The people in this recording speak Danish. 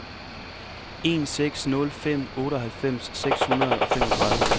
en seks nul fem otteoghalvfems seks hundrede og femogtredive